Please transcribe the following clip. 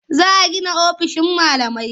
Za a gina ofisoshin malamai.